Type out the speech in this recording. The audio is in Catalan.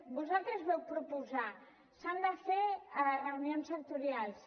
vosaltres vau proposar s’han de fer reunions sectorials